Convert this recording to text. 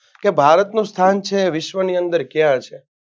કે ભારતનું સ્થાન છે વિશ્વની અંદર કયા છે?